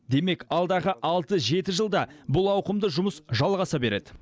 демек алдағы алты жеті жылда бұл ауқымды жұмыс жалғаса береді